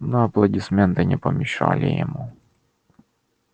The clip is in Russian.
но аплодисменты не помешали ему